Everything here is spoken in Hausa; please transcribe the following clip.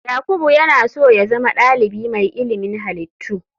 Yakubu yana so ya zama dalibi mai ilimin halittu.